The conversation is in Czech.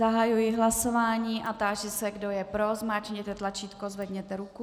Zahajuji hlasování a táži se, kdo je pro, zmáčkněte tlačítko, zvedněte ruku.